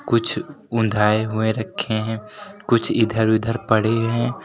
कुछ हुए रखे हैं कुछ इधर उधर पड़े हैं।